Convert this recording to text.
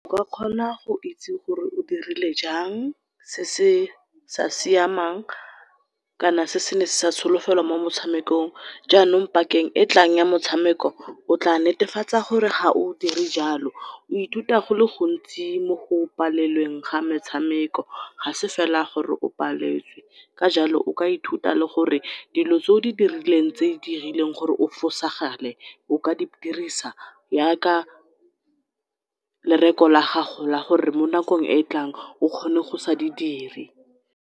O ka kgona go itse gore o dirile jang se se sa siamang kana sene se sa solofelwa mo motshamekong, janong pakeng e etlang ya motshameko o tla netefatsa gore ga o dire jalo. O ithuta gole gontsi mo go palelweng ga metshameko, ga se fela gore o paletswe ka jalo o ka ithuta le gore dilo tse o di dirileng, tse di dirileng gore o fosagale o ka di dirisa ya ka lereko la gago la gore mo nakong e e tlang o kgone go sa di dire.